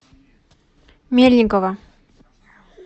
мельникова